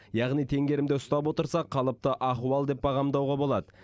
яғни теңгерімді ұстап отырсақ қалыпты ахуал деп бағамдауға болады